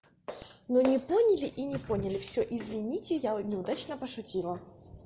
но не понимаю и не поняли все извините я неудачно пошутила